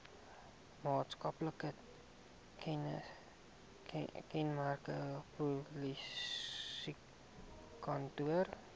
maatskaplike kenmerke polisiekantore